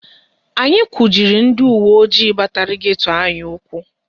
Anyị kujiri ndị uweojii batara geto anyị ụkwụ